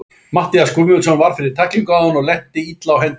Matthías Guðmundsson varð fyrir tæklingu áðan og lenti illa á hendinni.